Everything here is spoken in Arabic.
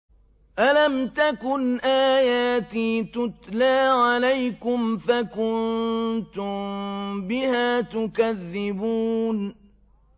أَلَمْ تَكُنْ آيَاتِي تُتْلَىٰ عَلَيْكُمْ فَكُنتُم بِهَا تُكَذِّبُونَ